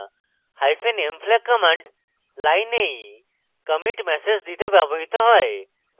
hyphen m flag command লাইনেই commit message দিতে ব্যবহৃত হয়